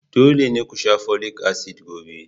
Dole ne ku sha folic acid gobe!